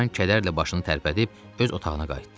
Loran kədərlə başını tərpədib öz otağına qayıtdı.